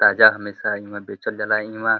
ताज़ा हमेशा इहँवा बेचल जाला। इहँवा --